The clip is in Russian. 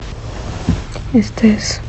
стс